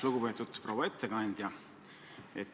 Lugupeetud proua ettekandja!